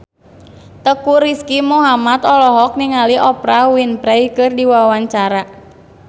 Teuku Rizky Muhammad olohok ningali Oprah Winfrey keur diwawancara